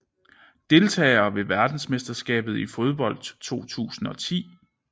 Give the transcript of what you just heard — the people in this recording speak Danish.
Deltagere ved verdensmesterskabet i fodbold 2010